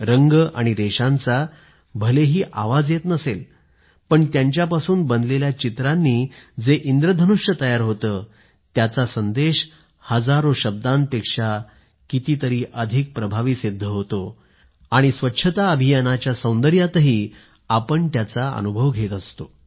रंग आणि रेषांचा भलेही आवाज येत नसेल पण त्यांच्यापासून बनलेल्या चित्रांनी जे इंद्रधनुष्य तयार होते त्यांचा संदेश हजार शब्दांपेक्षा अधिक कितीतरी जास्त प्रभावी सिद्ध होतो आणि स्वच्छता अभियानाच्या सौंदर्यातही आपण त्याचा अनुभव घेत असतो